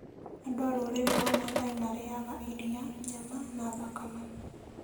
Andũ a rũrĩrĩ rwa Maasai marĩĩaga iria, nyama, na thakame.